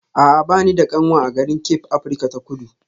A'a ba ni da kanwa a garin Cape Afirka ta Kudu